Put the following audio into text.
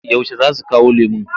Yaushe za su kawo lemon?